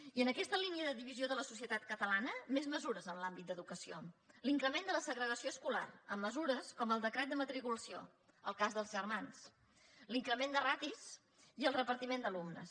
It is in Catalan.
i en aquesta línia de divisió de la societat catalana més mesures en l’àmbit d’educació l’increment de la segregació escolar amb mesures com el decret de matriculació el cas dels germans l’increment de ràtios i el repartiment d’alumnes